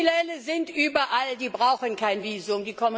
Kriminelle sind überall, sie brauchen kein Visum!